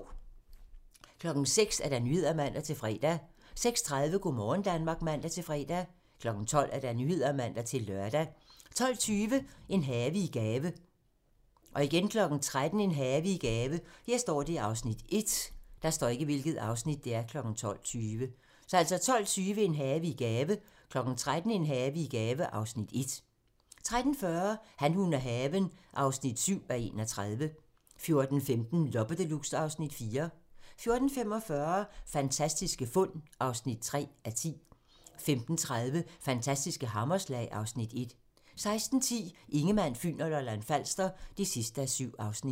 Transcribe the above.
06:00: Nyhederne (man-fre) 06:30: Go' morgen Danmark (man-fre) 12:00: Nyhederne (man-lør) 12:20: En have i gave 13:00: En have i gave (Afs. 1) 13:40: Han, hun og haven (7:31) 14:15: Loppe Deluxe (Afs. 4) 14:45: Fantastiske fund (3:10) 15:30: Fantastiske hammerslag (Afs. 1) 16:10: Ingemann, Fyn og Lolland-Falster (7:7)